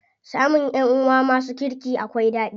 Samun ƴanʼuwa masu kirki akwai ɗadi.